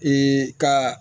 ka